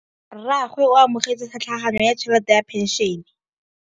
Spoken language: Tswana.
Rragwe o amogetse tlhatlhaganyô ya tšhelête ya phenšene.